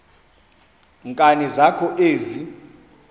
nkani zakho ezi